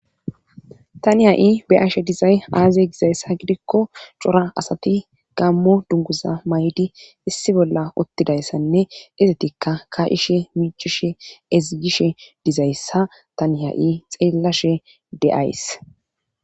Tanii ha7i beyashe dizay aaze gizayssa gidikko cora asati gammo dunguza may7di issi bolla ottidayssanne izetikka ka7ishe .michishe ezigishe dizayssa tani ha7i xeellashe de7ays